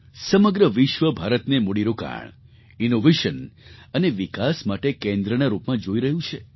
સમગ્ર વિશ્વ ભારતને મૂડીરોકાણ ઇનૉવેશન અને વિકાસ માટે કેન્દ્રના રૂપમાં જોઈ રહ્યું છે